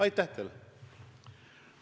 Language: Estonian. Aitäh teile!